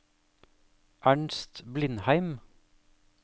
Ernst Blindheim